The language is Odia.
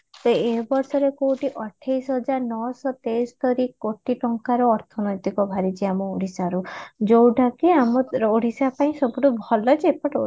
ଯେ ଏ ବର୍ଷର କୋଉଠି ଅଠେଇଶି ହଜାର ନଅ ଶହ ତେସ୍ତରି କୋଟି ଟଙ୍କାର ଅର୍ଥ ନୈତିକ ବାହାରିଛି ଆମ ଓଡିଶାରୁ ଯୋଉଟା କି ଆମ ଓଡିଶା ପାଇଁ ସବୁଠୁ ଭଲ ଯେ